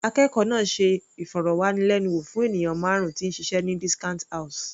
Akẹ́kọ̀ọ́ náà ṣe ìfọ̀rọ̀wánilẹ́nuwò fún ènìyàn márùn -un tí ń ṣiṣẹ́ ní discount house.